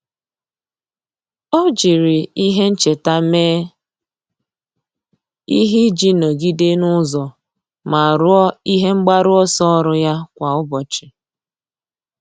Ọ́ jiri ihe ncheta mee ihe iji nọ́gídé n’ụ́zọ́ ma rúó ihe mgbaru ọsọ ọ́rụ́ ya kwa ụ́bọ̀chị̀.